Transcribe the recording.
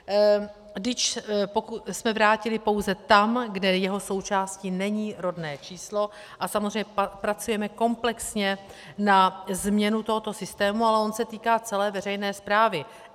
DIČ jsme vrátili pouze tam, kde jeho součástí není rodné číslo, a samozřejmě pracujeme komplexně na změně tohoto systému, ale on se týká celé veřejné správy.